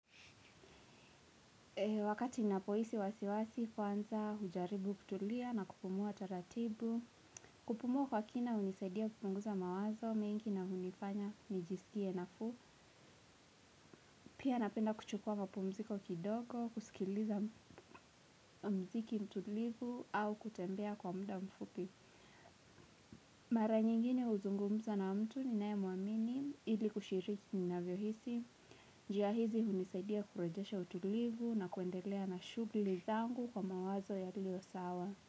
Wakati ninapoisi wasiwasi, kuanza hujaribu kutulia na kupumua taratibu, kupumua kwa kina unisaidia kupunguza mawazo, mingi na unifanya nijisikie nafuu. Pia napenda kuchukua mapumziko kidogo, kusikiliza mziki mtulivu au kutembea kwa mda mfupi. Mara nyingine uzungumza na mtu ninae muamini, ili kushiriki ninavyohisi. ''Jia hizi hunisadia kurejesha utulivu na kuendelea na shugli zangu, kwa mawazo yalio sawa.